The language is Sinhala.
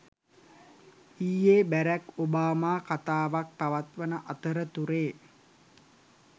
ඊයේ බැරක් ඔබාමා කතාවක් පවත්වන අතරතුරේ